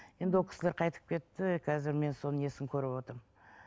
енді ол кісілер қайтып кетті қазір мен соның несін көріп отырмын